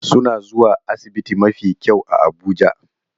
Suna zuwa asibiti mafi kyau a Abuja